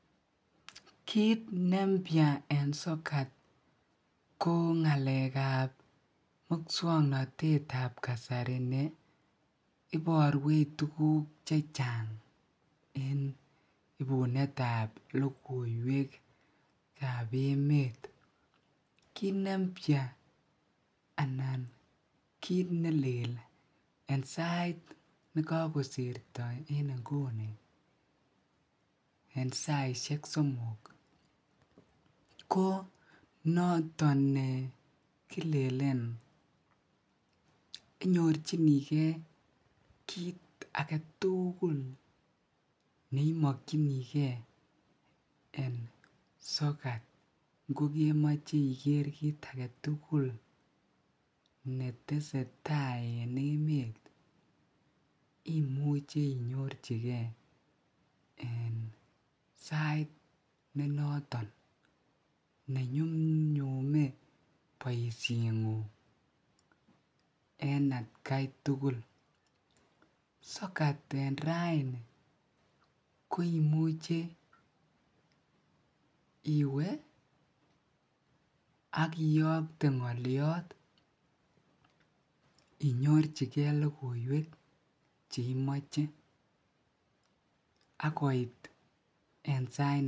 kiit nempya en sokat ko ngaleek ab muswongnotet ab kasari neiborweech tuguk chechang en ibunet ab logoiwek ab emet, kiit neimya anan kiit neleel en sait negogosirto en inguni en saisyeek somok ko noton negilelen kinyochinigee kiit agetul neimokyinigee en sokat ngogemoche igeer kiit agetugul netesetai en emet imuche inyorchigee en sait nenoton nenyumnyume boisheet nguung en atkai tugul, sokat en raini koimuche iwee ak iyokte ngolyoot inyorchigee logoiweek cheimoche ak koit en sait.